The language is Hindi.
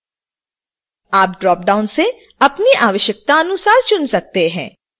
आप ड्रॉपडाउन से अपनी आवश्यकतानुसार चुन सकते हैं